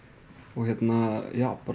og hérna já bara